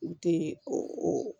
U tɛ o